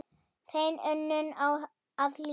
Hrein unun á að hlýða.